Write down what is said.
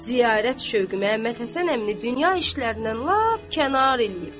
Ziyarət şövqü Məhəmməd Həsən əmini dünya işlərindən lap kənar eləyib.